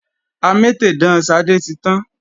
Amétèdán Ṣadé ti tán